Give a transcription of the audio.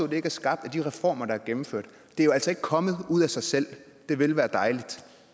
det ikke er skabt af de reformer der er gennemført det er jo altså ikke kommet ud af sig selv det ville være dejligt